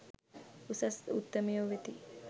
උසස් උත්තමයෝ වෙති.